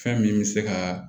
Fɛn min bɛ se ka